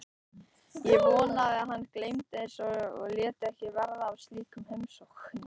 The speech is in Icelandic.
Ég vonaði að hann gleymdi þessu og léti ekki verða af slíkum heimsóknum.